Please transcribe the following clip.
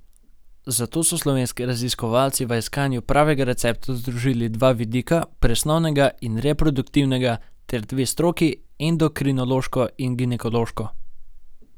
Zato so slovenski raziskovalci v iskanju pravega recepta združili dva vidika, presnovnega in reproduktivnega, ter dve stroki, endokrinološko in ginekološko.